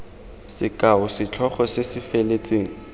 sekao setlhogo se se feletseng